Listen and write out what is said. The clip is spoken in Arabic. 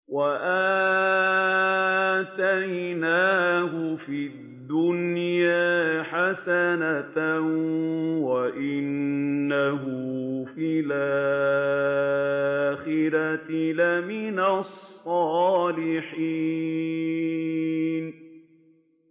وَآتَيْنَاهُ فِي الدُّنْيَا حَسَنَةً ۖ وَإِنَّهُ فِي الْآخِرَةِ لَمِنَ الصَّالِحِينَ